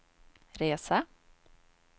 resa